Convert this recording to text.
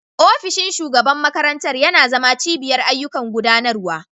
Ofishin shugaban makarantar yana zama cibiyar ayyukan gudanarwa.